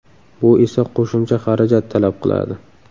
Bu esa qo‘shimcha xarajat talab qiladi.